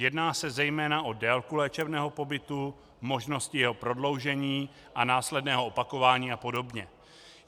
Jedná se zejména o délku léčebného pobytu, možnosti jeho prodloužení a následného opakování a podobně.